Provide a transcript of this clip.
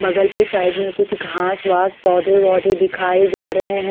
बगल पे साइड में कुछ घास वास पोधे वोढे दिखाए जा रहे है।